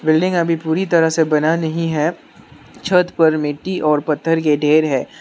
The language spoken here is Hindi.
बिल्डिंग अभी पूरी तरह से बना नहीं है छत पर मिट्टी और पत्थर के ढेर है।